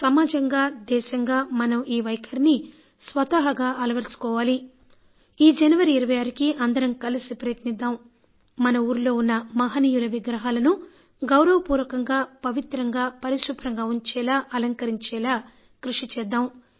సమాజంగా దేశంగా మనం ఈ వైఖరిని స్వతహాగా అలవరచుకోగలమా ఈ జనవరి 26కి అందరం కలిసి ప్రయత్నిద్దాం మన ఊరిలో మహనీయుల విగ్రహాలను గౌరవపూర్వకంగా పవిత్రంగా పరిశుభ్రంగా ఉంచేలా అలంకరించేలా కృషి చేద్దాం